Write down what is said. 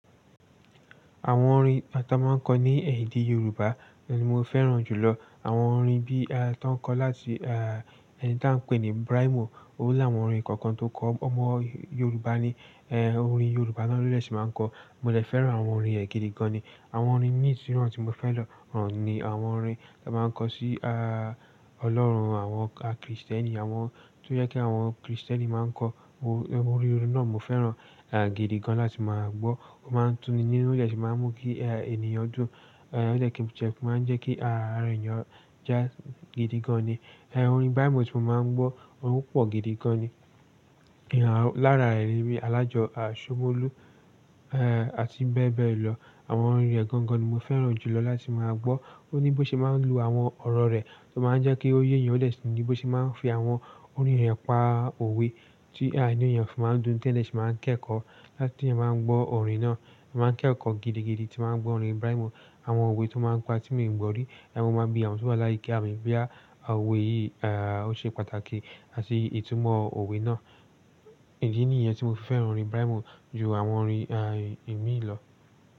Àwon orin tá máa n kó ní èdè Yorùbá ni mó fẹ́ràn jù lọ. Àwon orin bí tọ n kó láti ẹni tá n pè ní Brimo, ó láwọn orin kankan tó kó ọmọ Yorùbá ni, orin Yorùbá náà ló dẹ̀ si máa n kó. Mó dè fẹ́ràn àwon orin ẹ gidi gan ni. Àwon orin míìsín tí mó fẹ́ràn òún ni àwon orin tá máa n kó sí Olórun àwon Krìstẹ́nì, àwon tó yẹ kí àwon Krìstẹ́nì máa n kó. Orin náà mó fẹ́ràn gidi gan láti máa gbọ́. Ó máa n tú ni ní olẹ̀ sù máa n mú kí ènìyàn dún, ó lẹ̀ kí n jẹ máa n jẹ́ kí àrà ènìyàn jà gidi gan ni. Orin Brimo tí mó máa n gbọ́, ó pọ̀ gidi gan ni. Lara e ni alajo a somolu ati bee bee lo. Àwon orin rẹ gan gan ni mó fẹ́ràn jù lọ láti máa gbọ́. Ó ní bọ́ ṣe máa n lu àwon ọ̀rọ̀ rẹ̀ tó máa n jẹ́ kó yé eyan, ó lẹ̀ ṣe ní bọ́ ṣe máa n fi àwon orin rẹ̀ pa òwe tí ènìyàn fi máa n dún tí ẹ̀ lẹ̀ ṣe máa n kẹ́kọ́ láti tí ẹ̀ máa n gbọ́ orin náà. Mo. Máa n kẹ́kọ́ gidi gidi tí máa n gbọ́ orin Brimo. Àwon òwe tó máa n pa tí mi gbo rí, ẹ̀ mó máa bi àwon tí wà láyika mi boyà òwe yìí, ó ṣe pàtàkì àti ìtumọ̀ òwe náà. Èyí ni èyẹn tí mó fẹ́ràn orin Brimo jù àwon orin ẹ̀mí lọ.